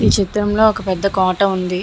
ఈ చిత్రం లో ఒక పెద్ధ కోట ఉంది.